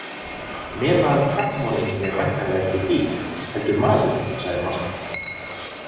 Nema að kattamorðinginn er væntanlega ekki dýr heldur maður, sagði Marteinn.